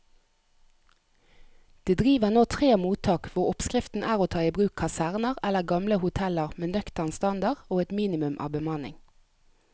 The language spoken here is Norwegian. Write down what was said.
Det driver nå tre mottak hvor oppskriften er å ta i bruk kaserner eller gamle hoteller med nøktern standard og et minimum av bemanning.